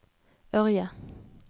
Ørje